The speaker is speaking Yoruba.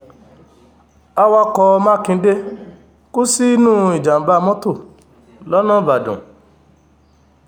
awakọ̀ makinde kú sínú ìjàm̀bá mọ́tò lọ́nà ìbàdàn